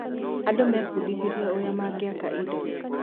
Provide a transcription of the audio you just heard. Andũ mebindithirie ũrĩa mangĩaka indo.